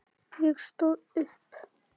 Ég stóð upp.